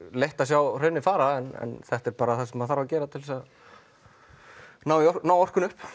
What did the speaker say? leitt að sjá hraunið fara en þetta er bara það sem þarf að gera til að ná ná orkunni upp